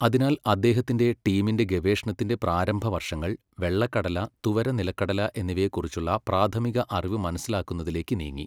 അതിനാൽ, അദ്ദേഹത്തിന്റെ ടീമിന്റെ ഗവേഷണത്തിന്റെ പ്രാരംഭ വർഷങ്ങൾ വെള്ള കടല, തുവര നിലക്കടല എന്നിവയെക്കുറിച്ചുള്ള പ്രാഥമിക അറിവ് മനസ്സിലാക്കുന്നതിലേക്ക് നീങ്ങി.